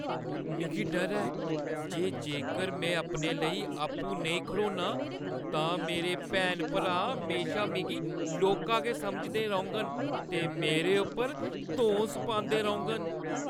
मिगी डर ऐ जे जेकर मैं अपने लेई आपूं नेईं खड़ोन्नां, तां मेरे भैनां-भ्रा म्हेशा मिगी लौह्‌का गै समझदे रौह्‌ङन ते मेरे उप्पर धौंस पांदे रौह्‌ङन।